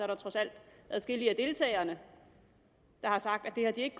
der trods alt adskillige af deltagerne der har sagt at de ikke